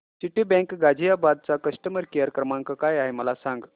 Citibank Ghaziabad चा customer care क्रमांक काय आहे मला सांग